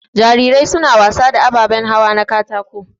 Jarirai suna wasa da ababan hawa na katako.